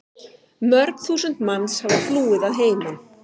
Mörg þúsund manns hafa flúið að heiman.